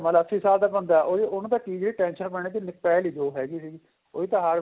ਮਤਲਬ ਅੱਸੀ ਸਾਲ ਦਾ ਬੰਦਾ ਉਹਨੂੰ ਤਾਂ ਕੀ tension ਪੈਣੀ ਸੀ ਉਹ ਪੈ ਲਈ ਜੋ ਹੈਗੀ ਸੀਗੀ ਉਹਦੀ ਤਾਂ heart